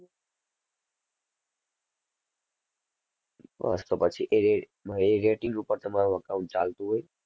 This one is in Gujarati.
બસ તો પછી એ રે~એ rating ઉપર તમારું account ચાલતું હોય.